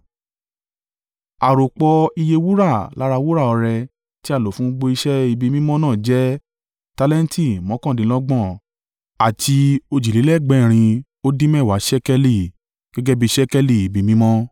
Àròpọ̀ iye wúrà lára wúrà ọrẹ tí a lò fún gbogbo iṣẹ́ ibi mímọ́ náà jẹ́ tálẹ́ǹtì mọ́kàndínlọ́gbọ̀n àti òjìlélẹ́ẹ̀gbẹ́rín ó dín mẹ́wàá (730) ṣékélì gẹ́gẹ́ bí i ṣékélì ibi mímọ́.